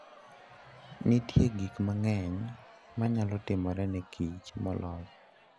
Nitie gik mang'eny ma nyalo timore ne kich molos.